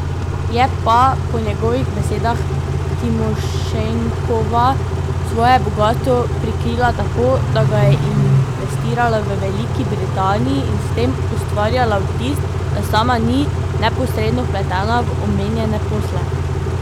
Je pa po njegovih besedah Timošenkova svoje bogastvo prikrila tako, da ga je investirala v Veliki Britaniji in s tem ustvarjala vtis, da sama ni neposredno vpletena v omenjene posle.